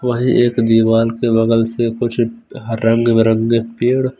वही एक दीवाल के बगल से कुछ रंग-बिरंगे पेड़--